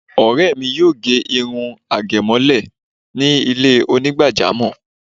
Ọ̀rẹ́ mi yóò ge irun àgémọ́lẹ̀ ní ilé Onígbàjámọ̀